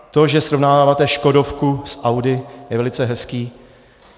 To, že srovnáváte škodovku s Audi, je velice hezké.